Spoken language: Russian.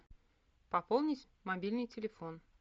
пополнить мобильный телефон